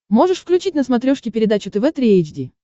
можешь включить на смотрешке передачу тв три эйч ди